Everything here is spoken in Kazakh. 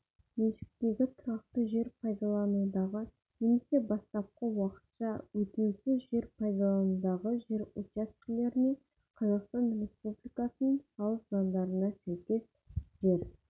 меншіктегі тұрақты жер пайдаланудағы немесе бастапқы уақытша өтеусз жер пайдаланудағы жер учаскелеріне қазақстан республикасының салық заңдарына сәйкес жер